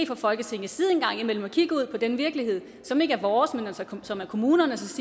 fra folketingets side en gang imellem at kigge ud på den virkelighed som ikke er vores men som er kommunernes